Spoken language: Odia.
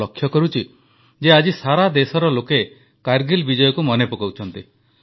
ମୁଁ ଲକ୍ଷ୍ୟ କରୁଛି ଯେ ଆଜି ସାରା ଦେଶରେ ଲୋକେ କାରଗିଲ ବିଜୟକୁ ମନେ ପକାଉଛନ୍ତି